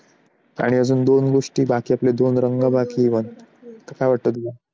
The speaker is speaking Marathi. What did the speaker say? आणि आपला दोन गोष्टी बाकी आहेत, अजून दोन रंग बाकी even काय वाटतं तुला?